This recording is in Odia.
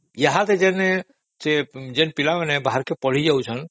ଯୋଉ ପିଲାମାନେ ବାହାରକୁ ପଳେଇଯାଉଛନ୍ତି